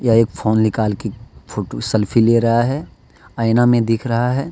एक फोन निकाल के फोटो सेल्फी ले रहा है आईना में दिख रहा है।